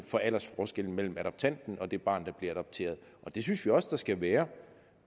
for aldersforskellen mellem adoptanten og det barn der bliver adopteret og det synes vi også der skal være